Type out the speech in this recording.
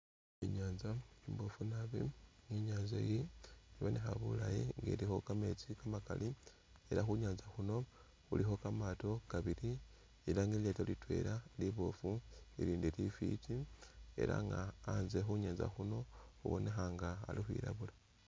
Inyanza imboofu nabi, inyanza iyi ibonekha bulayi ilikho kameetsi kamakali ela khunyanza khuno khulikho kamaato kabili ela nga ilyaato litwela liboofu ilindi lifwiti ela nga anzye khunyanza khuno khubonekha nga Ali khwilabula